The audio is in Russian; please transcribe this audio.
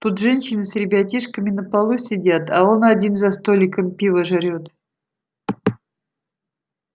тут женщины с ребятишками на полу сидят а он один за столиком пиво жрёт